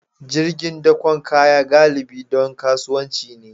Jirgin dakon kaya galibi don kasuwanci ne